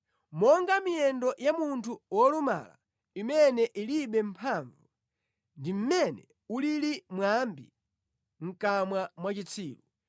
Monga miyendo ya munthu wolumala imene ilibe mphamvu ndi mmene ulili mwambi mʼkamwa mwa chitsiru.